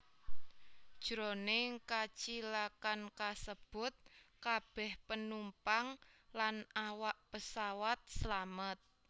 Jroning kacilakan kasebut kabèh penumpang lan awak pesawat slamet